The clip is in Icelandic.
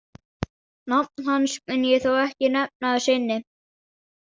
Nafn hans mun ég þó ekki nefna að sinni.